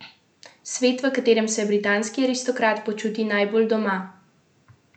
Svet, v katerem se britanski aristokrat počuti najbolj doma.